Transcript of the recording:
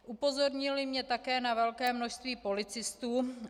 Upozornili mě také na velké množství policistů.